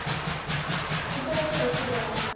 ওচৰতে বেছি দূৰ নহয়